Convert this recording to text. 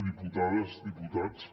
diputades diputats